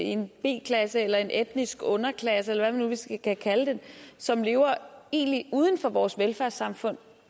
en b klasse eller en etnisk underklasse eller nu skal kalde det som lever uden for vores velfærdssamfund